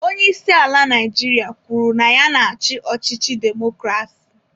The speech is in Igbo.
Onye isi ala Naijiria kwuru na ya na-achị ọchịchị demokrasi.